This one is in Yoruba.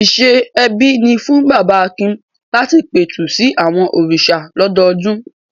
Ìṣe ẹbí ni fún bàbá Akin láti pẹ̀tù sí àwọn òrìṣà lọ́dọọdún.